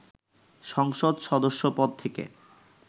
সংসদ সদস্যপদ থেকে